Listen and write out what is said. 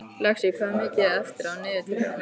Lexí, hvað er mikið eftir af niðurteljaranum?